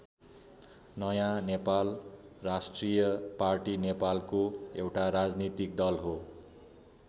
नयाँ नेपाल राष्ट्रिय पार्टी नेपालको एउटा राजनीतिक दल हो।